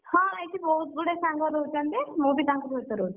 ହଁ ଏଇଠି ବହୁତ ଗୁଡ଼େ ସାଙ୍ଗ ରହୁଛନ୍ତି, ମୁଁ ବି ତାଙ୍କ ସହିତ ରହୁଛି,